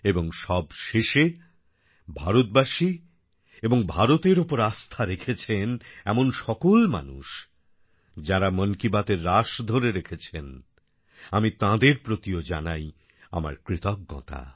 এবং সবশেষে ভারতবাসী এবং ভারতের ওপর আস্থা রেখেছেন এমন সকল মানুষ যাঁরা মন কী বাতএর রাশ ধরে রেখেছেন আমি তাঁদের প্রতিও জানাই আমার কৃতজ্ঞতা